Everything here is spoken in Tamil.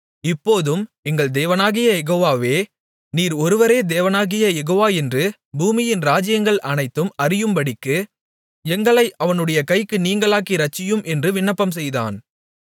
இப்போதும் எங்கள் தேவனாகிய யெகோவாவே நீர் ஒருவரே தேவனாகிய யெகோவா என்று பூமியின் ராஜ்ஜியங்கள் அனைத்தும் அறியும்படிக்கு எங்களை அவனுடைய கைக்கு நீங்கலாக்கி இரட்சியும் என்று விண்ணப்பம்செய்தான்